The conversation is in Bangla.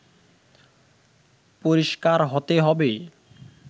পরিষ্কার হতে হবে